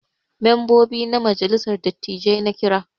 Membobi na majalissar dattijai na Kira.